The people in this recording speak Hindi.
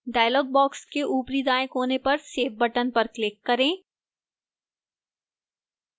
dialog box के ऊपरी दाएं कोने पर save button पर click करें